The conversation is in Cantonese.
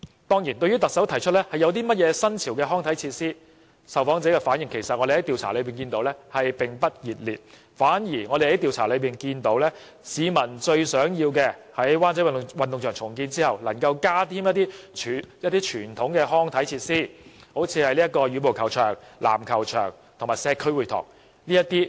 對於特首提出提供一些新潮康體設施的建議，據我們調查所得，受訪者的反應其實並不熱烈，市民最希望的反而是在灣仔運動場重建後能夠增加一些傳統康體設施，例如羽毛球場、籃球場及社區會堂等。